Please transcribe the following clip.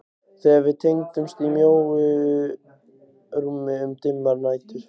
Þegar við tengdumst í mjóu rúmi um dimmar nætur.